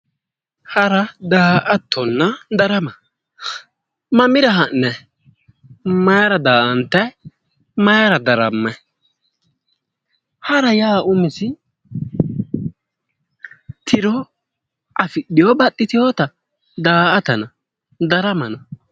Hara daa"attonna darama mamira ha'nayi? mayiira daa"antayi? maayiira darammayi? hara yaa umise tiro afidhewo baxxitewoota? daa"atana daramana?